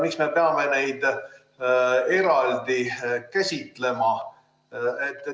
Miks me peame neid eraldi käsitlema?